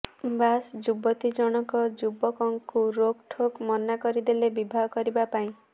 ବାସ୍ ଯୁବତୀ ଜଣକ ଯୁବକଙ୍କୁ ରୋକ୍ଠୋକ ମନା କରିଦେଲେ ବିବାହ କରିବା ପାଇଁ